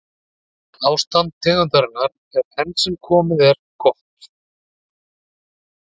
Ástand tegundarinnar er enn sem komið er gott.